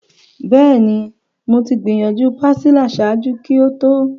Bẹẹni, Mo ti gbiyanju pastilla ṣaaju ki o to